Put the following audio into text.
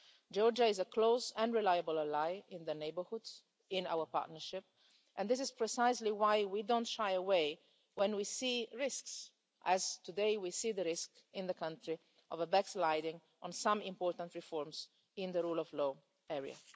Georgia is a close and reliable ally in the neighbourhood in our Partnership, and this is precisely why we don't shy away when we see risks as today we see the risk in the country of a backsliding on some important reforms in the rule of law area.